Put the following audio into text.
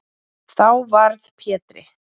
Þá varð Pétri